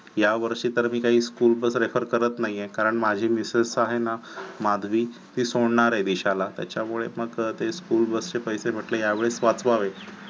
यावर्षी तर मी काही school bus prefer करत नाहीये कारण माझे मिसेस आहे ना माधवी ती सोडणार आहे दी दिशाला त्याच्यामुळे मग ती school bus चे पैसे म्हंटले ह्या वेळेस वाचवावेत.